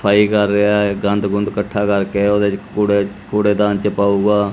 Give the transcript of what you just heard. ਸਫ਼ਾਈ ਕਰ ਰਿਹਾ ਹੈ ਗੰਦ ਗੁੰਦ ਇਕੱਠਾ ਕਰਕੇ ਓਹਦੇ ਚ ਕੂੜੇ ਕੂੜੇਦਾਨ ਚ ਪਾਊਗਾ।